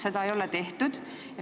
Seda ei ole tehtud.